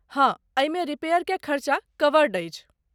हाँ, एहिमे रिपेयरकेँ खर्चा कवर्ड अछि।